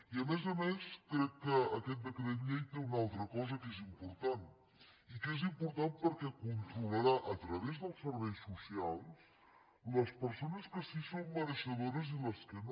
i a més a més crec que aquest decret llei té una altra cosa que és important i que és important perquè controlarà a través dels serveis socials les persones que sí en són mereixedores i les que no